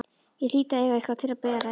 Ég hlýt að eiga eitthvað til að bera yfir.